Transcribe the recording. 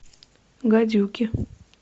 гадюки